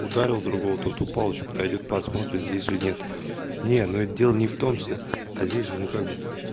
ударил другого тот упал ещё подойдёт посмотрим здесь же нет не ну это дело не в том что а здесь же ну как бы